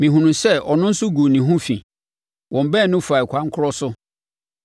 Mehunuu sɛ ɔno nso guu ne ho fi, wɔn baanu faa ɛkwan korɔ so.